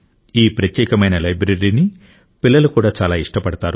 ఈ ప్రత్యేకమైన లైబ్రరీని పిల్లలు కూడా చాలా ఇష్టపడతారు